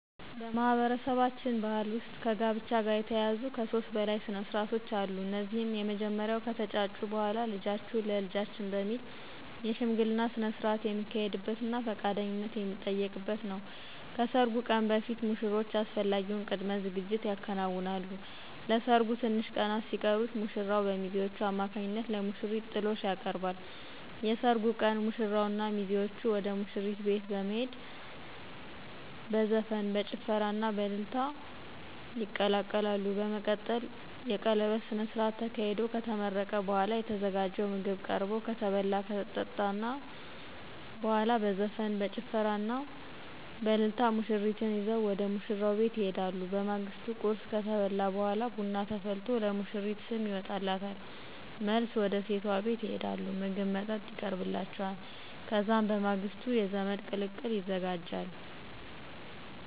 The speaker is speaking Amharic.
በማህበረሰባችን ባህል ውስጥ ከጋብቻ ጋር የተያያዙ ከሦስት በላይ ስነስርዓቶች አሉ። እነዚህም የመጀመሪያው ከተጫጩ በኋላ ልጃችሁን ለልጃችን በሚል የሽምግልና ስነስርዓት የሚካሄድበትና ፈቃደኝነት የሚጠየቅበት ነው። ከሰርጉ ቀን በፊት ሙሽሮቹ አስፈላጊውን ቅድመ ዝግጅት ያከናውናሉ። ለሰርጉ ትንሽ ቀናት ሲቀሩት ሙሽራው በሚዜዎቹ አማካኝነት ለሙሽሪት ጥሎሽ ያቀርባል። የሰርጉ ቀን ሙሽራውና ሚዜዎቹ ወደ ሙሽሪት ቤት በመሄድ በዘፈን፣ በጭፈራና በእልልታ ይቀላቀላሉ። በመቀጠልም የቀለበት ስነስርዓት ተካሂዶ ከተመረቀ በኋላ የተዘጋጀው ምግብ ቀርቦ ከተበላ ከተጠጣ በኋላ በዘፈን፣ በጭፈራና በእልልታ ሙሽሪትን ይዘው ወደ ሙሽራው ቤት ይሄዳሉ። በማግስቱ ቁርስ ከተበላ በኋላ ቡና ተፈልቶ ለሙሽሪት ስም ይወጣላታል። መልስ ወደ ሴቷ ቤት ይሄዳሉ ምግብ መጠጥ ይቀርብላቸዋል። ከዛም በማግስቱ የዘመድ ቅልቅል ይዘጋጃል።